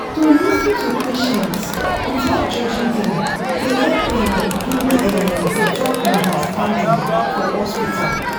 to lis ten to patients without judging dem dey help um build um better understanding for hospital.